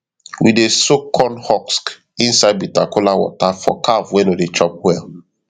we dey soak corn husk inside bitter kola water for calf wey no dey chop well